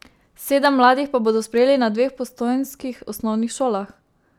Sedem mladih pa bodo sprejeli na dveh postojnskih osnovnih šolah.